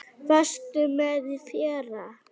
Varstu með í fyrra?